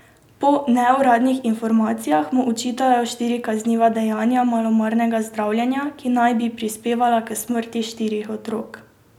Po neuradnih informacijah mu očitajo štiri kazniva dejanja malomarnega zdravljenja, ki naj bi prispevala k smrti štirih otrok.